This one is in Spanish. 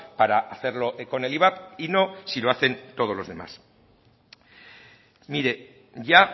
para hacerlo con el ivap y no si lo hacen todos los demás mire ya